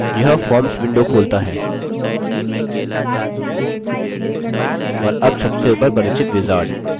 यह forms window खोलता है और अब सबसे ऊपर परिचित wizard